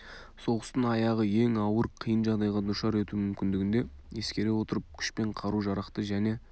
соғыстың аяғы ең ауыр қиын жағдайға душар етуі мүмкіндігін де ескере отырып күш пен қару-жарақты және